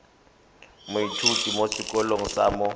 moithuti mo sekolong sa mo